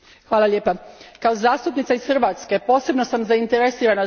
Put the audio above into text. Kao zastupnica iz Hrvatske, posebno sam zainteresirana za ovo pitanje.